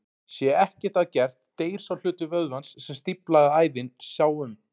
Sé ekkert að gert deyr sá hluti vöðvans sem stíflaða æðin sá um.